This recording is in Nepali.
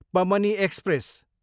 पमनी एक्सप्रेस